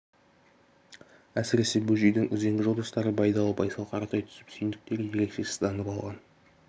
әсіресе бөжейдің үзеңгі жолдастары байдалы байсал қаратай түсіп сүйіндіктер ерекше сызданып алған